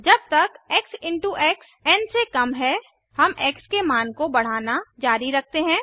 जब तक x in टूx एन से कम है हम एक्स के मान को बढ़ाना जारी रखते हैं